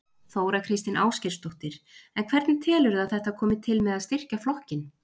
Þóra Kristín Ásgeirsdóttir: En hvernig telurðu að þetta komi til með að styrkja flokkinn?